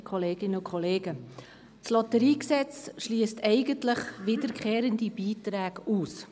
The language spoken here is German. der SiK. Das Lotteriegesetz (LotG) schliesst eigentlich wiederkehrende Beiträge aus.